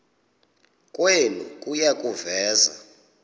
kwenu kuya kuveza